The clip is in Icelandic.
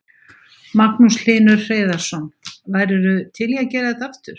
Magnús Hlynur Hreiðarsson: Værirðu til í að gera þetta aftur?